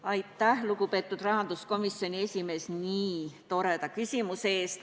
Aitäh, lugupeetud rahanduskomisjoni esimees, nii toreda küsimuse eest!